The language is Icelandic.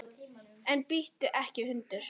En bíttu ekki, hundur!